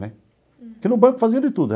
Né porque no banco fazia de tudo.